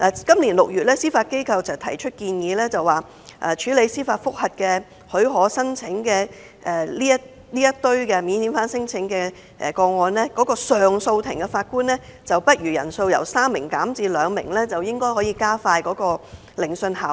今年6月，司法機構建議把處理免遣返聲請申請司法覆核許可個案的上訴庭法官人數，由3名減至2名，以期加快聆訊，提高效率。